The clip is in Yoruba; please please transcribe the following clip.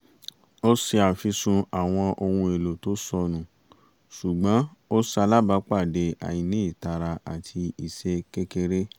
ó ṣe àfisùn àwọn ohun èlò tó sọnù ṣùgbọ́n ó salábàápàdé àìní ìtara àti ìṣe kékeré